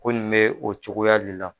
Ko nin mɛ o cogoya de la